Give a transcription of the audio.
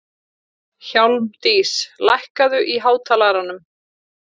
Hjálmdís, lækkaðu í hátalaranum.